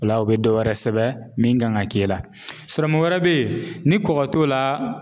O la o be dɔ wɛrɛ sɛbɛn min kan ga ke i la sɔrɔmu wɛrɛ be yen ni kɔgɔ t'o la